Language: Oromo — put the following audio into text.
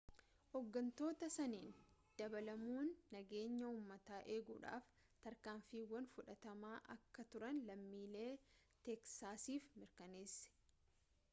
ooggantoota saniin dabaalamuun nageenya uummataa eguudhaf tarkaanfiiwwan fudhatamaa akka turan lammiilee teeksaasiif mirkaneesse